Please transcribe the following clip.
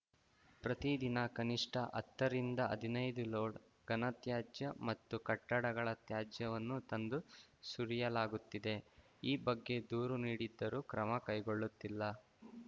ಪ್ರತಿ ದಿನ ಕನಿಷ್ಠ ಹತ್ತರಿಂದ ಹದ್ನೈದು ಲೋಡ್‌ ಘನತ್ಯಾಜ್ಯ ಮತ್ತು ಕಟ್ಟಡಗಳ ತ್ಯಾಜ್ಯವನ್ನು ತಂದು ಸುರಿಯಲಾಗುತ್ತಿದೆ ಈ ಬಗ್ಗೆ ದೂರು ನೀಡಿದ್ದರೂ ಕ್ರಮ ಕೈಗೊಳ್ಳುತ್ತಿಲ್ಲ